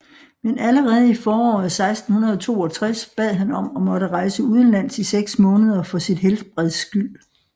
Men allerede i foråret 1662 bad han om at måtte rejse udenlands i seks måneder for sit helbreds skyld